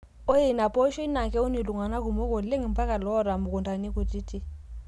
Ore ina pooshoi naa keun iltung'ana kumok oleng mpaka loota mukuntani kutiti.